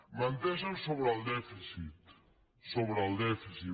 menteixen sobre el dèficit sobre el dèficit